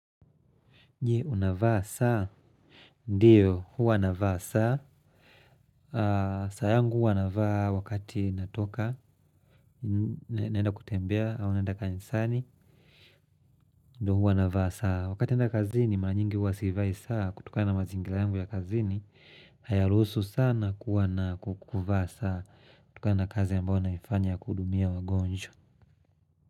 Unavaa saa? Ndiyo, huwa navaa saa. Saa yangu huwa navaa wakati natoka, naenda kutembea au naenda kanisani. Ndiyo, huwa navaa saa wakati naenda kazini. Mara nyingi huwa sivai saa kutokana na mazingira yangu ya kazini. Hayaruhusu sana kuvaa saa kutokana na kazi ninayoifanya ya kuhudumia wagonjwa.